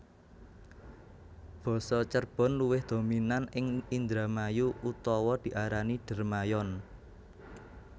Basa Cerbon luwih dominan ing Indramayu utawa diarani Dermayon